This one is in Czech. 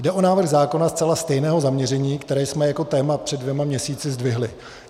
Jde o návrh zákona zcela stejného zaměření, které jsme jako téma před dvěma měsíci zdvihli.